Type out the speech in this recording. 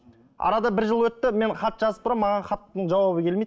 арада бір жыл өтті мен хат жазып тұрамын маған хаттың жауабы келмейді